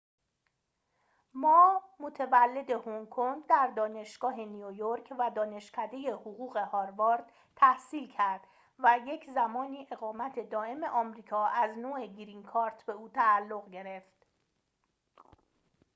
ما متولد هنگ‌کنگ در دانشگاه نیویورک و دانشکده حقوق هاروارد تحصیل کرد و یک‌زمانی اقامت دائم آمریکا از نوع گرین کارت به او تعلق گرفت